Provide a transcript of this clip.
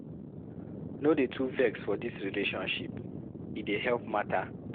No dey too vex for dis relationship, e dey help mata.